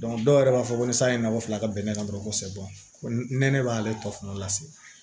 dɔw yɛrɛ b'a fɔ ko ni san ye nakɔ fila ka bɛn ne kan dɔrɔn kosɛbɛ ko nɛnɛ b'ale tɔ fana lase